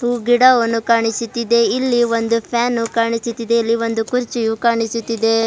ಗಿಡವನ್ನು ಕಾಣಿಸುತ್ತಿದೆ ಇಲ್ಲಿ ಒಂದು ಫ್ಯಾನ್ ಕಾಣಿಸುತ್ತಿದೆ ಇಲ್ಲಿ ಒಂದು ಕುರ್ಚಿಯು ಕಾಣಿಸುತ್ತಿದೆ.